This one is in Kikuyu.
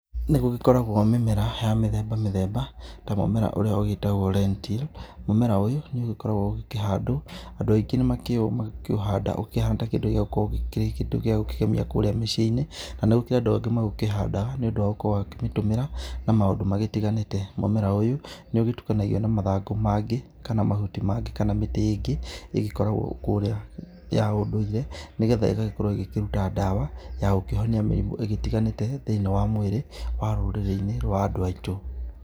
Nĩ gũgĩkoragwo mĩmera ya mĩthemba mĩthemba ta mũmera ũrĩa ũgĩtagwo rentil, mũmera ũyũ nĩ ũgĩkoragwo ũgĩkĩhandwo. Andũ aingĩ nĩ makĩũhandaga ũkĩhana ta kĩndũ gĩa gũkĩgemia kũríĩa mĩiciĩ-inĩ na gũkĩrĩ andũ angĩ magĩkĩhandaga nĩ ũndũ wa gũkorwo makĩũtũmĩra na maũndũ matiganĩte. Mũmera ũyũ nĩ ũgĩtukanagio na mathangũ mangĩ kana mahuti mangĩ kana mĩtĩ ĩngĩ ĩgĩkoragwo kũrĩa ya ũndũire. Nĩ getha ĩgagĩkorwo ĩgĩkĩruta ndawa ya gũkĩhonia mĩrimũ ĩgĩtiganĩte thĩinĩ wa mwĩrĩ wa rũrĩrĩ-inĩ rwa andũ aitũ.